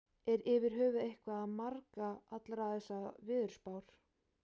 Er yfir höfuð eitthvað að marka allar þessar veðurspár?